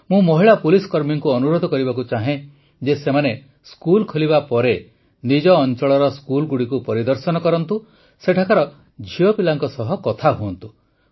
ମୁଁ ମହିଳା ପୁଲିସକର୍ମୀଙ୍କୁ ଅନୁରୋଧ କରିବାକୁ ଚାହେଁ ଯେ ସେମାନେ ସ୍କୁଲ୍ ଖୋଲିବା ପରେ ନିଜ ଅଂଚଳର ସ୍କୁଲଗୁଡ଼ିକୁ ପରିଦର୍ଶନ କରନ୍ତୁ ସେଠାକାର ଝିଅପିଲାଙ୍କ ସହ କଥା ହୁଅନ୍ତୁ